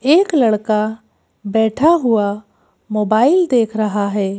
एक लड़का बैठा हुआ मोबाइल देख रहा है।